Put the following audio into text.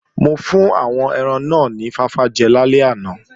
Mo fún àwọn ẹran náà ni fáfá jẹ lálẹ́ àná